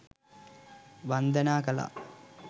වන්දනා කළා.